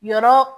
Yɔrɔ